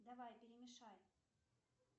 давай перемешай